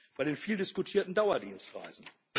Bei den viel diskutierten Dauerdienstreisen.